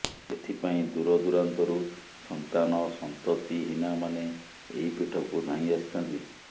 ଏଥିପାଇଁ ଦୂର ଦୂରାନ୍ତରୁ ସନ୍ତାନ ସନ୍ତତିହିନାମାନେ ଏହି ପିଠକୁ ଧାଇଁ ଆସିଥାନ୍ତି